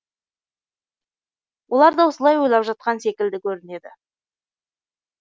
олар да осылай ойлап жатқан секілді көрінеді